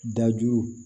Dajugu